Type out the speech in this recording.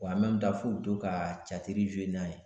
Wa f'u be to ka n'a ye.